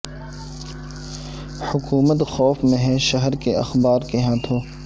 حکومت خوف میں ہے شہر کے اخبار کے ہاتھوں